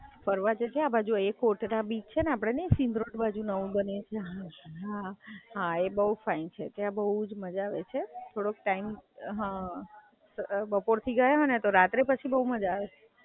ફરવા જજે આ બાજુ એકોટડા બી છે, આપડે નહિ સિંધ રોડ બાજુ નવું બન્યું છે, એ બઉ ફાઇન છે ત્યાં બઉ જ મજા આવે છે. બપોરથી ગયા હોય ને તો રાત્રે પછી બઉ મજા આવે. ત્યાં જજે ફરવા.